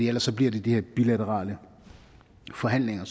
ellers bliver det de her bilaterale forhandlinger